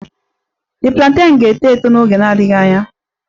The plantain ga-eto eto n'oge na-adịghị anya